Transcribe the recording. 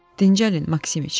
Dincəlin, Maksimiç!